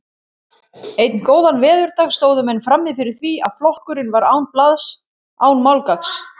Einn góðan veðurdag stóðu menn frammi fyrir því að flokkurinn var án blaðs, án málgagns.